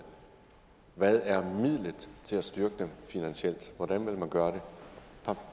hvad er midlet til at styrke dem finansielt hvordan vil man gøre det